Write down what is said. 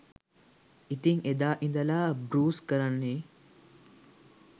ඉතින් එදා ඉදලා බෲස් කරන්නේ